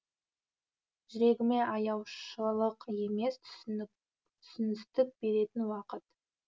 жүрегіме аяушылық емес түсіністік беретін уақыт